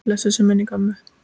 Blessuð sé minning ömmu.